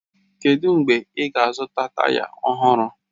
Kedụ mgbe ị ga-azụta taya ọhụrụ?